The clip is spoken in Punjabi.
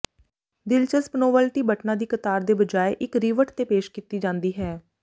ਦਿਲਚਸਪ ਨੋਵਲਟੀ ਬਟਨਾਂ ਦੀ ਕਤਾਰ ਦੇ ਬਜਾਏ ਇੱਕ ਰਿਵਟ ਤੇ ਪੇਸ਼ ਕੀਤੀ ਜਾਂਦੀ ਹੈ